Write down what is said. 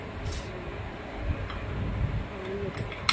ਹਮ ਖਾਣੀ ਅਜੇ